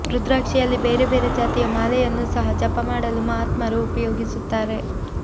ರುದ್ರಾಕ್ಷಿಯಲ್ಲಿ ಬೇರೆ ಬೇರೆ ಜಾತಿಯ ಮಾಲೆಯನ್ನು ಸಹ ಜಪ ಮಾಡಲು ಮಹಾತ್ಮರು ಉಪಯೋಗಿಸುತ್ತಾರೆ